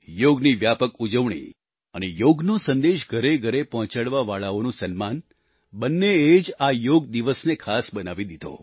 યોગની વ્યાપક ઉજવણી અને યોગનો સંદેશ ઘરેઘરે પહોંચાડવાવાળાઓનું સન્માન બંનેએ જ આ યોગ દિવસને ખાસ બનાવી દીધો